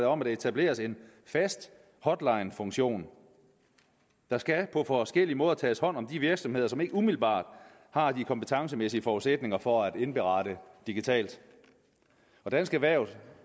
om at der etableres en fast hotlinefunktion der skal på forskellige måder tages hånd om de virksomheder som ikke umiddelbart har de kompetencemæssige forudsætninger for at indberette digitalt dansk erhverv